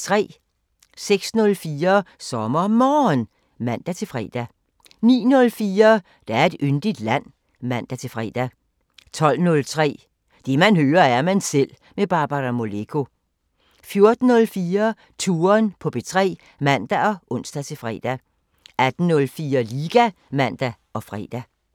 06:04: SommerMorgen (man-fre) 09:04: Der er et yndigt land (man-fre) 12:03: Det man hører, er man selv med Barbara Moleko 14:04: Touren på P3 (man og ons-fre) 18:04: Liga (man og fre)